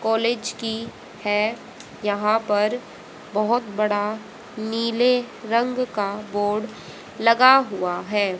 College की है यहां पर बहोत बड़ा नीले रंग का बोर्ड लगा हुआ है।